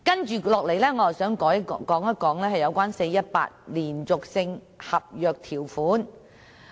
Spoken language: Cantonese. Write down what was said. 接下來，我想談談 "4-18" 連續性合約條款。